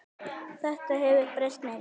Þetta hefur breyst mikið.